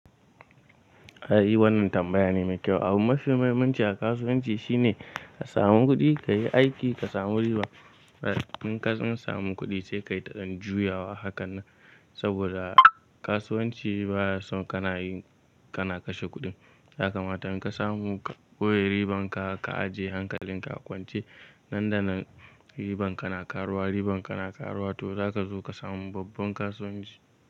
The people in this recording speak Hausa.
Eh, wannan tambaya ne mai kyau. Abu mafi muhimmanci a kasuwanci shine ka samu kuɗi, ka yi aiki ka samu riba. In ka tsam samu kuɗi sai ka yi ta dan juyawa hakan nan. Saboda kasuwanci baya son kana yi kana kashe kuɗin. Ya kamata in ka samu ka boye riban ka, ka ajiye hankalin ka a kwance nan da nan riban ka na ƙaruwa, riban ka na ƙaruwa to zaka zo ka samu babban kasuwanci.